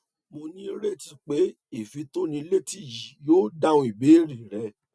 mo ní ìrètí pé ìfitónilétí yìí yóò dáhùn ìbéèrè rẹ